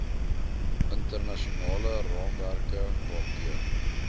internasionale raamwerke waardeur